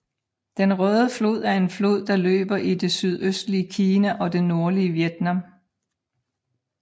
Den Røde Flod er en flod der løber i det sydøstlige Kina og det nordlige Vietnam